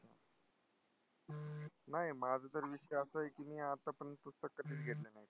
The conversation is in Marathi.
नाही माझा तर विषय असा आहे की मी आत्तापर्यंत पुस्तक कधीच घेतलं नाही.